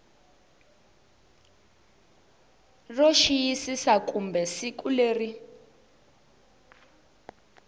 ro xiyisisa kumbe siku leri